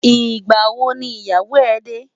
Nigbâ wó ni iyáwó rè dè?